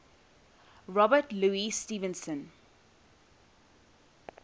robert louis stevenson